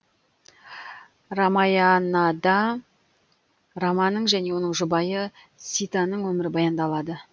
рамаянада раманың және оның жұбайы ситаның өмірі баяндалады